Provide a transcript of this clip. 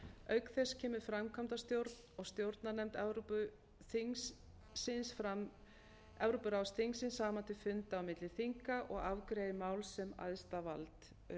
auk þess kemur framkvæmdastjórn og stjórnarnefnd evrópuráðsþingsins saman til funda á milli þinga og afgreiðir mál sem æðsta vald